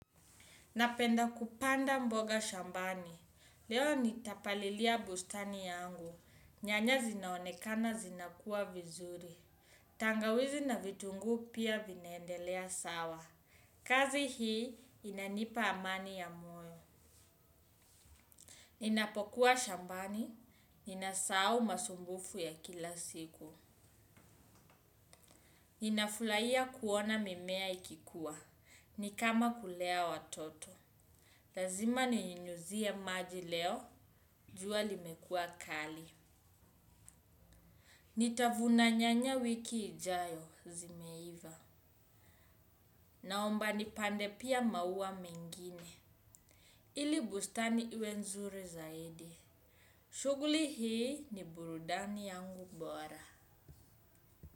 Napenda kupanda mboga shambani. Leo nitapalilia bustani yangu. Nyanya zinaonekana zinakua vizuri. Tangawizi na vitunguu pia vinaendelea sawa. Kazi hii inanipa amani ya moyo. Ninapokuwa shambani. Ninasahau masumbufu ya kila siku. Ninafurahia kuona mimea ikikuwa. Ni kama kulea watoto. Lazima ninyunyizie maji leo, jua limekua kali. Nitavuna nyanya wiki ijayo, zimeiva. Naomba nipande pia maua mengine. Ili bustani iwe nzuri zaidi. Shughuli hii ni burudani yangu bora.